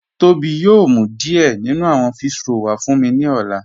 Tobi yòò mú díẹ̀ nínú àwọn físhrọ̀lì wà fún mí ni ọ̀lá